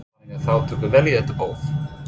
Þannig að þau tóku vel í þetta boð?